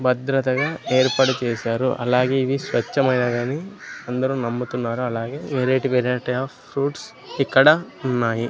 భద్రతగా ఏర్పాటు చేశారు అలాగే ఇవి స్వచ్ఛమైనవని అందరూ నమ్ముతున్నారు అలాగే వెరైటీ వెరైటీ ఆఫ్ ఫ్రూట్స్ ఇక్కడ ఉన్నాయి.